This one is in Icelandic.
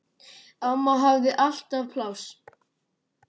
Amma hafði alltaf pláss.